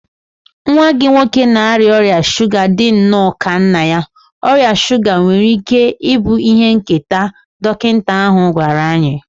Nwa gị nwoke na-arịa ọrịa shuga dị nnọọ ka nna ya, ọrịa shuga nwere ike ịbụ ihe nketa, dọkịta ahụ gwara anyị.